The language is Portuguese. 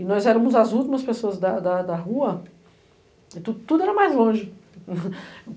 e nós éramos as últimas pessoas da rua, tudo era mais longe.